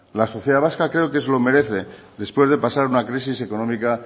la sociedad vasca creo que se lo merece después de pasar una crisis económica